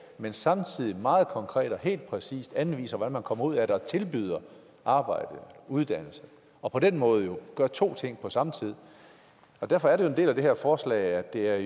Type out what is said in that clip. men samtidig meget konkret og helt præcist anviser hvordan folk kommer ud af det og tilbyder arbejde uddannelse og på den måde jo gør to ting på samme tid og derfor er det en del af det her forslag at det er